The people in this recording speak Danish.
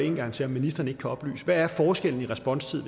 en gang til om ministeren ikke kan oplyse hvad forskellen i responstid